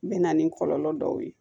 N mɛna ni kɔlɔlɔ dɔw ye